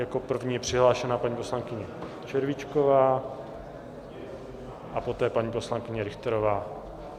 Jako první je přihlášena paní poslankyně Červíčková a poté paní poslankyně Richterová.